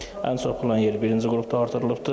Ən çox plan yeri birinci qrupda artırılıbdır.